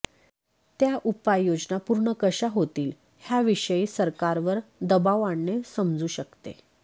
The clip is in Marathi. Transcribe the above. त्या उपाययोजना पूर्ण कशा होतील ह्याविषयी सरकारवर दबाव आणणे समजू शकते